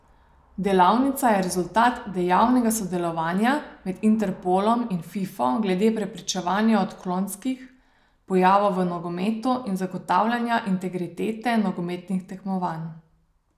Delavnica je rezultat dejavnega sodelovanja med Interpolom in Fifo glede preprečevanja odklonskih pojavov v nogometu in zagotavljanja integritete nogometnih tekmovanj.